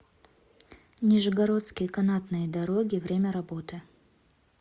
нижегородские канатные дороги время работы